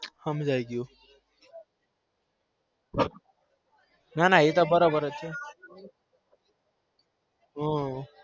હમજી ગયું એતો બરાબર છે હ